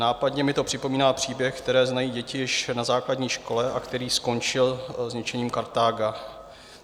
Nápadně mi to připomíná příběh, který znají děti již na základní škole a který skončil zničením Kartága.